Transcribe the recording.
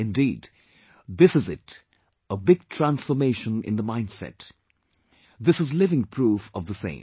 Indeed, this is it a big transformation in the mindset... this is living proof of the same